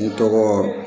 N tɔgɔ